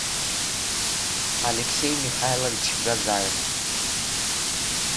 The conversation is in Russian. алексей михайлович газаев